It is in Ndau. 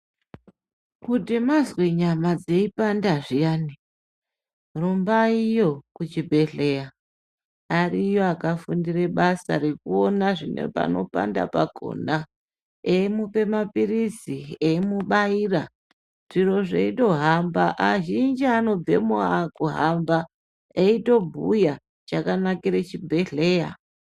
Kuti mazwe nyama dzeipanda zviyani rumbaiyo kuchibhedhleya ariyo akafundire basa rekuona zvinepanopanda pakona. Eimupa maphirizi eimubaira zviro zveitohamba, azhinji anobvemo akuhamba eitobhuya chakanakire chibhedhleya.